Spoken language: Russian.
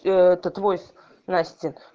аа это войс настин